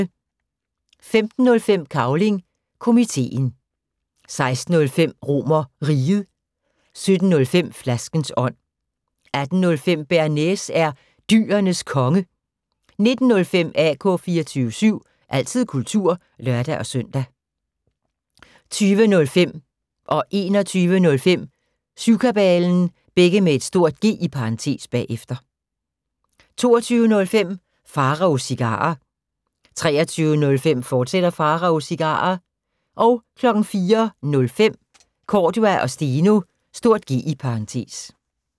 15:05: Cavling Komiteen 16:05: RomerRiget 17:05: Flaskens ånd 18:05: Bearnaise er Dyrenes Konge 19:05: AK 24syv – altid kultur (lør-søn) 20:05: Syvkabalen (G) 21:05: Syvkabalen (G) 22:05: Pharaos Cigarer 23:05: Pharaos Cigarer, fortsat 04:05: Cordua & Steno (G)